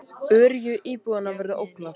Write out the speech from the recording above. Öryggi íbúanna verður ógnað